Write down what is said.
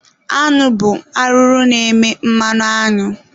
Añụ bụ arụrụ na-eme mmanụ añụ.